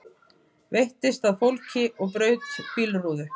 Veittist að fólki og braut bílrúðu